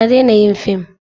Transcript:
Ta daina yin film.